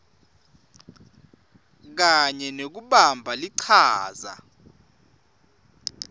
kanye nekubamba lichaza